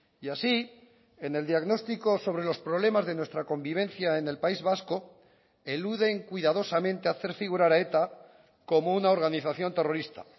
y así en el diagnóstico sobre los problemas de nuestra convivencia en el país vasco eluden cuidadosamente hacer figurar a eta como una organización terrorista